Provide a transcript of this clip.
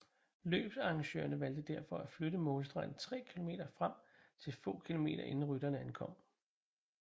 Løbsarrangørene valgte derfor at flytte målstregen 3 km frem til få kilometer inden rytterne ankom